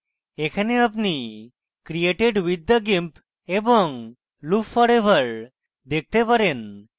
এখানে আপনি created with the gimp এবং loop forever দেখেন